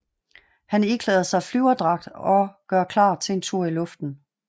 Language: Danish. Han iklæder sig flyverdragt og gør klar til en tur i luften